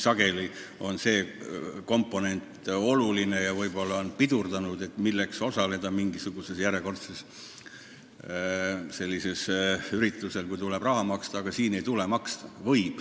Sageli on see tegur oluline ja võib-olla on ka pidurdanud osalemist – milleks osaleda mingisugusel järjekordsel ettevõtmisel, kui tuleb raha maksta –, aga siin ei tule maksta.